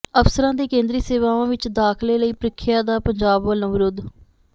ਅਫ਼ਸਰਾਂ ਦੇ ਕੇਂਦਰੀ ਸੇਵਾਵਾਂ ਵਿੱਚ ਦਾਖਲੇ ਲਈ ਪ੍ਰੀਖਿਆ ਦਾ ਪੰਜਾਬ ਵੱਲੋਂ ਵਿਰੋਧ